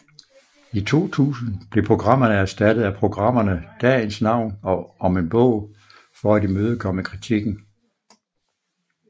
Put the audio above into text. I 2000 blev programmerne erstattet af programmerne Dagens Navn og Om en bog for at imødekomme kritikken